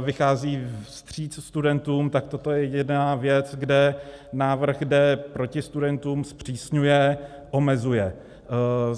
vychází vstříc studentům, tak toto je jediná věc, kde návrh jde proti studentům, zpřísňuje, omezuje.